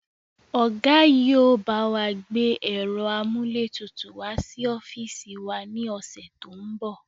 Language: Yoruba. Ọ̀gá yìí ó bawa gbé ẹ̀rọ amúlétutù wá sí ọ́fíìsì wá ní ọ̀sẹ̀ to ń bọ̀